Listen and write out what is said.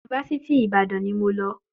Yunifásítì Ìbàdàn ni mo lọ.